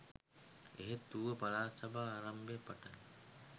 එහෙත් ඌව පළාත් සභා ආරම්භයේ පටන්